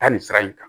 Taa nin sira in kan